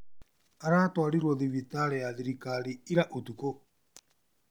Aratwarirwo thibitarĩ ya thirikari ira ũtuko